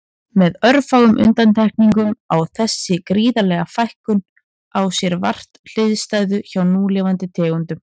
Með örfáum undantekningum á þessi gríðarlega fækkun á sér vart hliðstæðu hjá núlifandi tegundum.